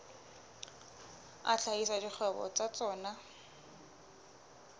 a hlahisa dikgwebo tsa tsona